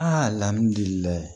Aa alihamudulilayi